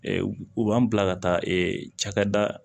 u b'an bila ka taa cakɛda